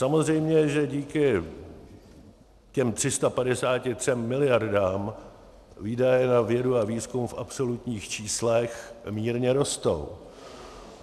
Samozřejmě, že díky těm 353 miliardám výdaje na vědu a výzkum v absolutních číslech mírně rostou.